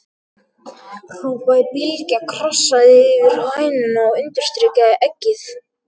hrópaði Bylgja, krassaði yfir hænuna og undirstrikaði eggið.